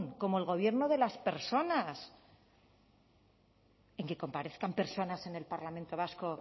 como el gobierno de las personas en que comparezcan personas en el parlamento vasco